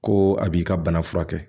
Ko a b'i ka bana furakɛ